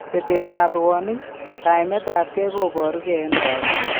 Betet ab rwanik, kaimet ab kee ko boru gee en lagok